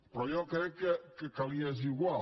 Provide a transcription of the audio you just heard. però jo crec que li és igual